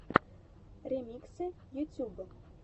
ремиксы ютуб